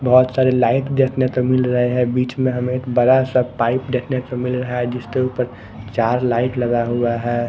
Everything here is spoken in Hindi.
बहोत सारी लाइट देखने को मिल रहे हैं बीच में हमें बड़ा सा पाइप देखने को मिल रहा है जिससे ऊपर चार लाइट लगा हुआ है।